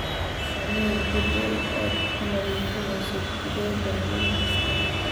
Samee jadwal aad ku nadiifinayso digaagga maalin kasta.